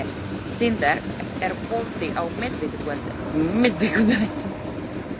Tindar, er bolti á miðvikudaginn?